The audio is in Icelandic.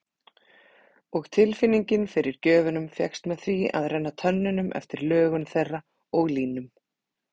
Og tilfinningin fyrir gjöfunum fékkst með því að renna tönnunum eftir lögun þeirra og línum.